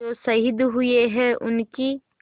जो शहीद हुए हैं उनकी